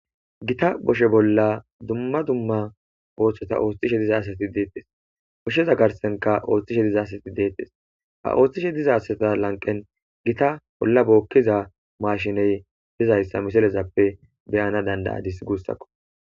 gita boshe bolla dumma dumma ooththota ooththishe dizaasati deettes oshsheza garsenka ooththishe dizaasati deettes ha ooththishe dizasata lanqen gita bolla bookkiza maashiney dizayssa misilezappe beyana dandayadis guussakko